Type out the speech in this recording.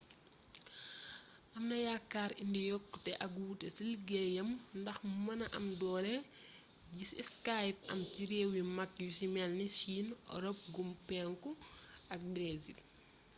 amna yaakaar indi yokkute ak wuute ci liggéeyam ndax mu mëna am doole ji skype am ci réew yu mag yu ci melni chine europe gu penku ak brésil